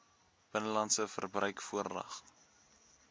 binnelandse verbruik voorrang